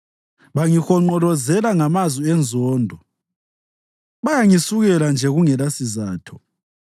Bangihonqolozela ngamazwi enzondo; bayangisukela nje kungelasizatho.